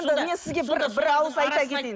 мен сізге бір бір ауыз айта кетейін